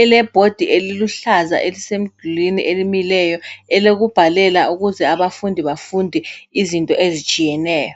ele board eliluhlaza elisemdulini elimileyo elokubhalela ukuze abafundi bafunde izinto ezitshiyeneyo.